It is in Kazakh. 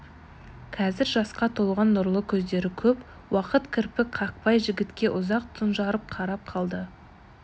қазір жасқа толған нұрлы көздері көп уақыт кірпік қақпай жігітке ұзақ тұнжырап қарап қалды